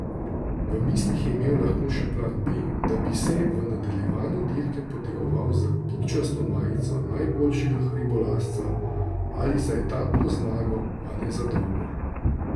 V mislih je imel lahko še plan B, da bi se v nadaljevanju dirke potegoval za pikčasto majico najboljšega hribolazca ali za etapno zmago, a ne za dolgo.